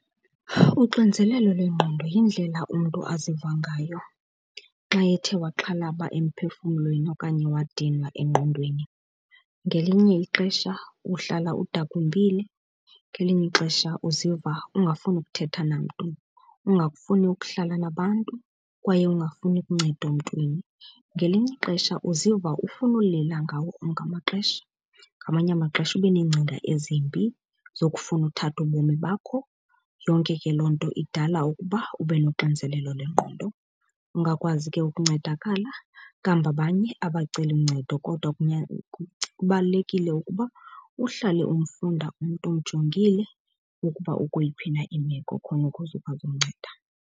Uxinzelelo lwengqondo yindlela umntu aziva ngayo xa ethe waxhalaba emphefumlweni okanye wadinwa engqondweni. Ngelinye ixesha uhlala udakumbile, ngelinye ixesha uziva ungafuni ukuthetha namntu, ungakufuni ukuhlala nabantu kwaye ungafuni luncedo mntwini. Ngelinye ixesha uziva ufuna ulila ngawo onke amaxesha, ngamanye amaxesha ube neengcinga ezimbi zokufuna uthatha ubomi bakho. Yonke ke loo nto idala ukuba ube nonxinzelelo lengqondo. Ungakwazi ke ukuncedakala, kambe abanye abaceli ncedo kodwa kubalulekile ukuba uhlale umfunda umntu umjongile ukuba ukweyiphi na imeko khona ukuze ukwazi umnceda.